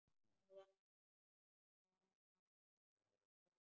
Hvaðan á mig stóð veðrið.